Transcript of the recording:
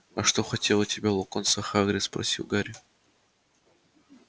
а что хотел от тебя локонс а хагрид спросил гарри